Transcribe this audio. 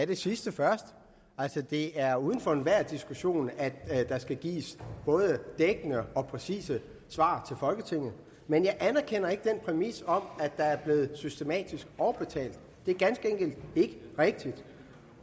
det sidste først det er uden for enhver diskussion at der skal gives både dækkende og præcise svar til folketinget men jeg anerkender ikke den præmis om at der er blevet systematisk overbetalt det er ganske enkelt ikke rigtigt